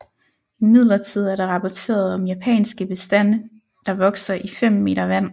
Imidlertid er der rapporteret om japanske bestande der vokser i 5 m vand